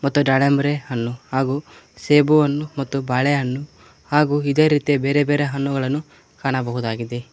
ಮತ್ತು ದಾಳಂಬರಿ ಹಣ್ಣು ಹಾಗು ಸೇಬು ಹಣ್ಣು ಮತ್ತು ಬಾಳೆಹಣ್ಣು ಹಾಗು ಇದೇ ರೀತಿಯ ಬೇರೆ ಬೇರೆ ಹಣ್ಣುಗಳನ್ನು ಕಾಣಬಹುದಾಗಿದೆ.